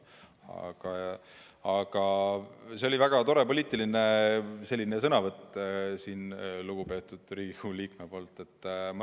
Aga see oli väga tore poliitiline sõnavõtt lugupeetud Riigikogu liikmelt.